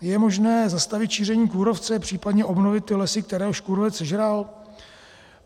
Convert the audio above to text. Je možné zastavit šíření kůrovce, případně obnovit ty lesy, které již kůrovec sežral?